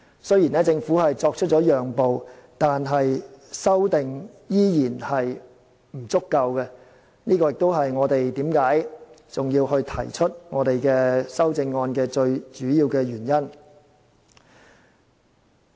雖然政府作出讓步，但有關的修訂仍然不足夠，這亦是我們提出修正案的主要原因。